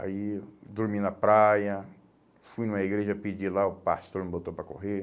Aí dormi na praia, fui numa igreja pedir lá, o pastor me botou para correr.